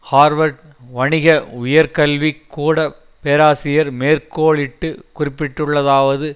Harvard வணிக உயர்கல்விக் கூட பேராசரியர் மேற்கோளிட்டு குறிப்பிட்டுள்ளதாவது